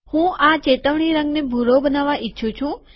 હું આ ચેતવણી રંગને ભૂરો બનાવવા ઈચ્છું છું